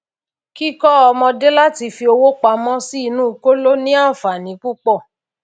kíkó ọmọdé láti fi owó pamó sí inú kóló ní ànfàní púpò